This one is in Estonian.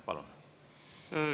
Palun!